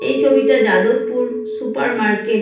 এই ছবিটা Jadavpur super market --